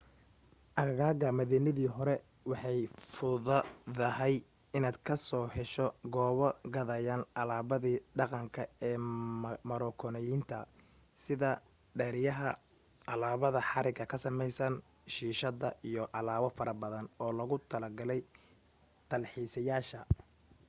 aagaga madiinadii hore way fududahay inaad ka hesho goobo gadaya alaabada dhaqadanka ee marookaaniyiinta sida dheryaha alaabada haraga ka samaysan shiishadda iyo alaabo farabadan oo loogu talo galay talxiisayaasha